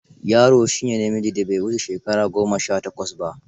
Yaro shi ne namijin da bai wuce shekara goma sha takwas ba.